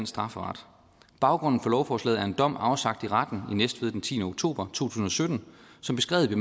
strafferet baggrunden for lovforslaget er en dom afsagt af retten i næstved den tiende oktober tusind og sytten som beskrevet i